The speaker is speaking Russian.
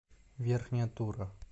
верхняя тура